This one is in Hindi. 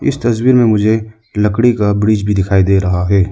इस तस्वीर में मुझे लकड़ी का ब्रिज भी दिखाई दे रहा है।